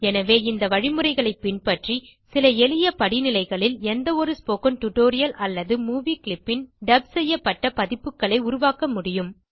எனவே இந்த வழிமுறைகளை பின்பற்றி சில எளிய படிநிலைகளில் எந்த ஒரு ஸ்போக்கன் டியூட்டோரியல் அல்லது மூவி கிளிப் ன் டப் செய்யப்பட்ட பதிப்புகளை உருவாக்க முடியும்